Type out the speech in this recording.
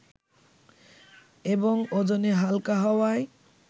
এবং ওজনে হালকা হওয়ায়